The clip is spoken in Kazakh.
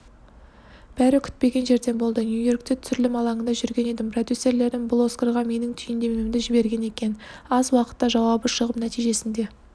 бәрі күтпеген жерден болды нью-йоркте түсірілім алаңында жүрген едім продюсерлерім бұл оскарға менің түйіндемемді жіберген екен аз уақыта жауабы шығып нәтижесінде